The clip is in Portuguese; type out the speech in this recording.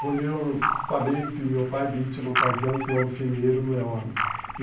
Quando eu falei que meu pai disse uma ocasião que o homem sem dinheiro não é homem.